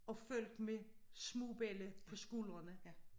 Og folk med små belli på skuldrene